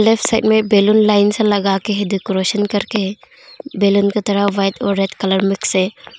Left side में balloon line से लगा के है डेकोरेसन करके है बैलून रेड और वाइट कलर मिक्स है।